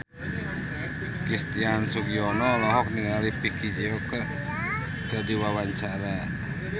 Christian Sugiono olohok ningali Vicki Zao keur diwawancara